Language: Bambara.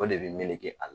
O de bɛ melege a la